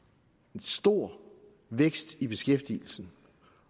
en stor vækst i beskæftigelsen